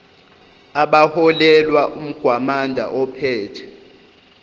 abaholelwa umgwamanda ophethe